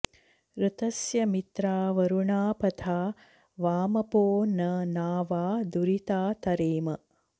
ऋ॒तस्य॑ मित्रावरुणा प॒था वा॑म॒पो न ना॒वा दु॑रि॒ता त॑रेम